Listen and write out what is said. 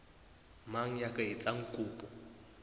mang ya ka etsang kopo